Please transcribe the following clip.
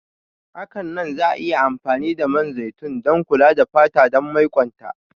Hakanan za'a iya amfani da man zaitun don kula da fata dan maiƙwonta.